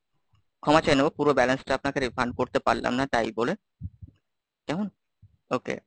ক্ষমা চেয়ে নেবো পুরো balance টা আপনাকে refund করতে পারলাম না তাই বলে, কেমন? okay,